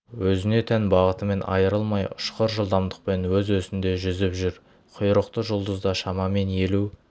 өзіне тән бағытынан айырылмай ұшқыр жылдамдықпен өз өсінде жүзіп жүр құйрықты жұлдыз да шамамен елу